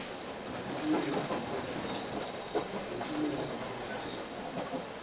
e a nkimela e mpolaisa